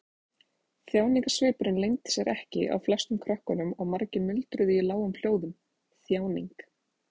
Þjáningarsvipurinn leyndi sér ekki á flestum krökkunum og margir muldruðu í lágum hljóðum: Þjáning.